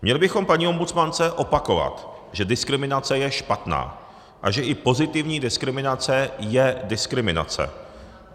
Měli bychom paní ombudsmance opakovat, že diskriminace je špatná a že i pozitivní diskriminace je diskriminace.